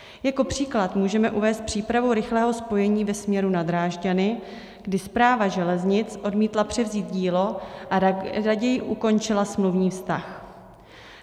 Jako příklad můžeme uvést přípravu rychlého spojení ve směru na Drážďany, kdy Správa železnic odmítla převzít dílo a raději ukončila smluvní vztah.